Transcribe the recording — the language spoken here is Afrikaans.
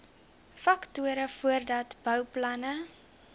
faktore voordat bouplanne